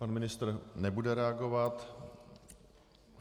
Pan ministr nebude reagovat.